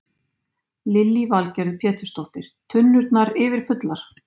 Lillý Valgerður Pétursdóttir: Tunnurnar yfirfullar?